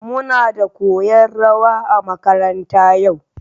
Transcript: Muna da koyan rawa a makaranta yau